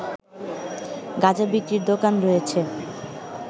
গাঁজা বিক্রির দোকান রয়েছে